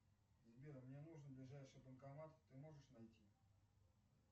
сбер мне нужен ближайший банкомат ты можешь найти